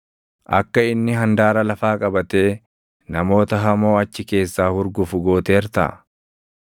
Akka inni handaara lafaa qabatee namoota hamoo achi keessaa hurgufu gooteertaa?